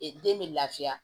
Ee den bɛ lafiya